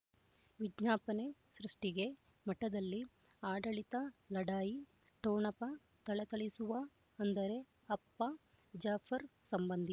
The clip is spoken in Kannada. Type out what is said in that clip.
ವಿಜ್ಞಾಪನೆ ಸೃಷ್ಟಿಗೆ ಮಠದಲ್ಲಿ ಆಡಳಿತ ಲಢಾಯಿ ಠೊಣಪ ಥಳಥಳಿಸುವ ಅಂದರೆ ಅಪ್ಪ ಜಾಫರ್ ಸಂಬಂಧಿ